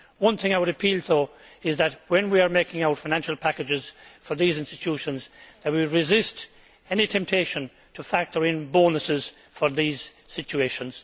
There is one thing I would appeal for, though, and that is that when we are making our financial packages for these institutions, we resist any temptation to factor in bonuses for these situations.